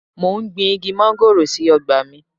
Mo gbin Igi móngòrò sí ọgbà mi.